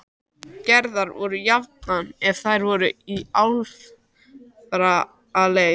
Gerðar voru jafnan ef þær voru í alfaraleið.